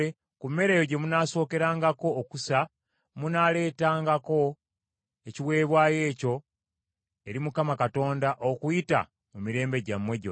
Ku mmere eyo gye munaasookerangako okusa munaaleetangako ekiweebwayo ekyo eri Mukama Katonda okuyita mu mirembe gyammwe gyonna.’